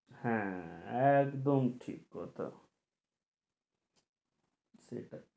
হ্যাঁ একদম ঠিক কথা সেটা